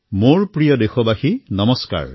মোৰ মৰমৰ দেশবাসীসকল নমস্কাৰ